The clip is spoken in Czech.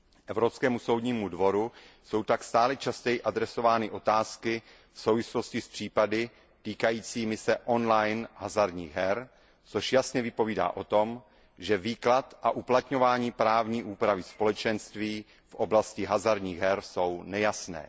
Evropskému soudnímu dvoru jsou tak stále častěji adresovány otázky v souvislosti s případy týkajícími se on line hazardních her, což jasně vypovídá o tom, že výklad a uplatňování právní úpravy Společenství v oblasti hazardních her jsou nejasné.